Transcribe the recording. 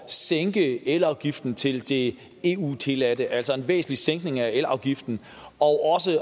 sænke elafgiften til det eu tilladte altså en væsentlig sænkning af elafgiften og